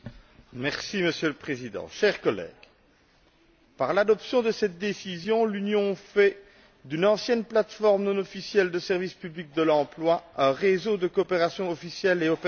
Monsieur le Président, chers collègues, par l'adoption de cette décision, l'Union fait d'une ancienne plateforme non officielle de services publics de l'emploi un réseau de coopération officiel et opérationnel.